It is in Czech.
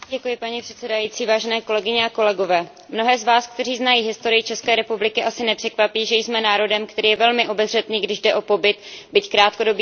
Mnohé z vás, kteří znají historii České republiky, asi nepřekvapí, že jsme národem, který je velmi obezřetný, když jde o pobyt, byť krátkodobý, cizích vojsk na našem území či jeho přesuny.